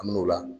An mi n'o la